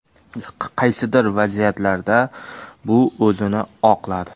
Qaysidir vaziyatlarda bu o‘zini oqladi.